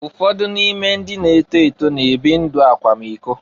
Ụfọdụ n'ime ndị na-eto eto na-ebi ndụ akwamiko.